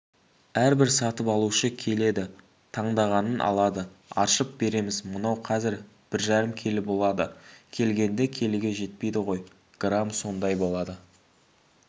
әрбір сатып алушы келеді таңдағанын алады аршып береміз мынау қазір бір жарым келі болады келгенде келіге жетпейді ғой грамм сондай болады